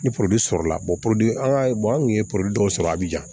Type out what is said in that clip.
Ni sɔrɔla an ka an kun ye dɔw sɔrɔ a bi ja